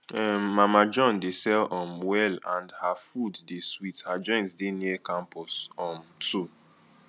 um mama john dey sell um well and her food dey sweet her joint dey near campus um 2